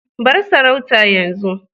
bar sarauta yanzu